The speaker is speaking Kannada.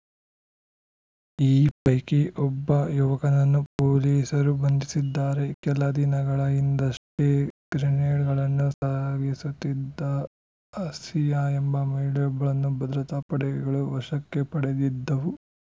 ಈ ಪೈಕಿ ಒಬ್ಬ ಯುವಕನನ್ನು ಪೊಲೀಸರು ಬಂಧಿಸಿದ್ದಾರೆ ಕೆಲ ದಿನಗಳ ಹಿಂದಷ್ಟೇ ಗ್ರೆನೇಡ್‌ಗಳನ್ನು ಸಾಗಿಸುತ್ತಿದ್ದ ಆಸಿಯಾ ಎಂಬ ಮಹಿಳೆಯೊಬ್ಬಳನ್ನು ಭದ್ರತಾ ಪಡೆಗಳು ವಶಕ್ಕೆ ಪಡೆದಿದ್ದವು